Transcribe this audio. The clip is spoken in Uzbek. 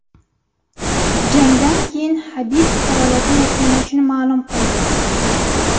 Jangdan keyin Habib faoliyatini yakunlashini ma’lum qildi .